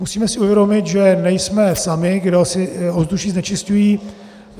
Musíme si uvědomit, že nejsme sami, kdo si ovzduší znečišťují.